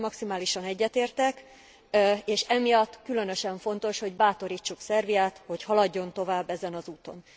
Ezzel maximálisan egyetértek, és emiatt különösen fontos, hogy bátorítsuk Szerbiát, hogy haladjon tovább ezen az úton.